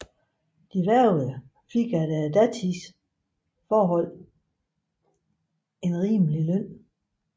De hvervede fik efter datidens forhold en rimelig løn